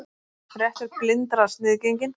Réttur blindra sniðgenginn